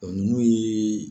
Ɔ nunnu yee.